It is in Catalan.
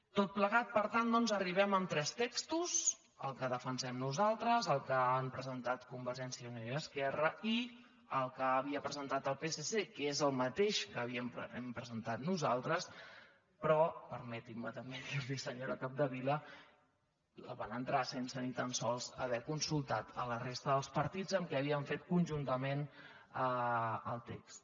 tot plegat per tant doncs arribem amb tres textos el que defensem nosaltres el que han presentat con·vergència i unió i esquerra i el que havia presentat el psc que és el mateix que hem presentat nosaltres però permeti’m també dir·li·ho senyora capdevila el van entrar sense ni tan sols haver consultat la resta dels partits amb qui havien fet conjuntament el text